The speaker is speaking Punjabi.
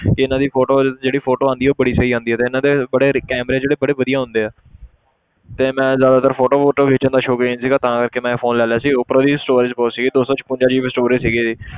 ਕਿ ਇਹਨਾਂ ਦੀ photos ਜਿਹੜੀ photo ਆਉਂਦੀ ਹੈ ਉਹ ਬੜੀ ਸਹੀ ਆਉਂਦੀ ਹੈ ਤੇ ਇਹਨਾਂ ਦੇ ਬੜੇ camera ਜਿਹੜੇ ਬੜੇ ਵਧੀਆ ਹੁੰਦੇ ਆ ਤੇ ਮੈਂ ਜ਼ਿਆਦਾਤਰ photo ਫ਼ੂਟੋ ਖਿੱਚਣ ਦਾ ਸ਼ੌਕੀਨ ਸੀਗਾ ਤਾਂ ਕਰਕੇ ਮੈਂ ਇਹ phone ਲੈ ਲਿਆ ਸੀ ਉਪਰੋਂ ਦੀ ਇਹਦੀ storage ਬਹੁਤ ਸੀਗੀ ਦੋ ਸੌ ਛਪੰਜਾ GB storage ਸੀਗੀ ਇਹਦੀ।